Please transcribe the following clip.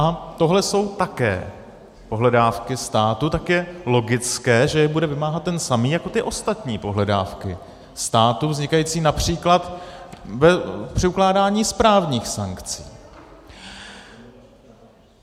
A tohle jsou také pohledávky státu, tak je logické, že je bude vymáhat ten samý jako ty ostatní pohledávky státu, vznikající například při ukládání správních sankcí.